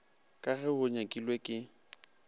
ka ge go nyakilwe ke